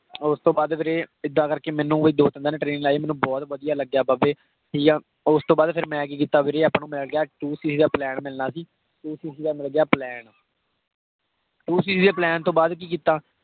ਓਸ ਤੋਂ ਬਾਅਦ ਵੀਰੇ ਇੱਦਾਂ ਕਰ ਕੇ ਮੈਨੂੰ ਦੋ ਤਿਨ ਦਿਨ training ਲਾਈ, ਮੈਨੂੰ ਬਹੁਤ ਵਧਿਆ ਲੱਗਾ ਬਾਬੇ। ਠੀਕ ਆ, ਓਸ ਤੋਂ ਬਾਅਦ ਫੇਰ ਮੈਂ ਕੀ ਕੀਤਾ ਵੀਰੇ ਆਪਾਂ ਨੂੰ ਮਿਲ ਗਿਆ two cc ਦਾ ਮਿਲਣਾ ਸੀ। two cc ਦਾ ਮਿਲ ਗਿਆ ਪਲੈਨ। two cc ਦੇ plan ਤੋਂ ਬਾਅਦ ਕਿ ਕੀਤਾ।